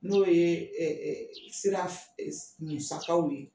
N'o ye sira musakaw ye